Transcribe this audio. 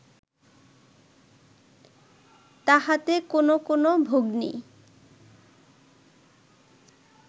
তাহাতে কোন কোন ভগ্নী